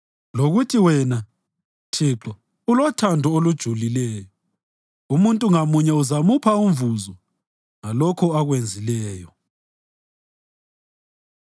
Lokuthi wena, Thixo, ulothando olojulileyo, umuntu ngamunye uzamupha umvuzo ngalokho akwenzileyo.